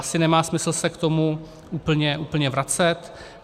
Asi nemá smysl se k tomu úplně vracet.